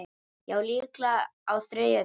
Já, líklega á þriðja tíma.